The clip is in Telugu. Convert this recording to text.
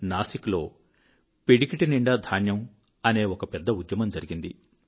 నాసిక్ లో పిడికిటి నిండా ధాన్యము అనే ఒక పెద్ద ఉద్యమం జరిగింది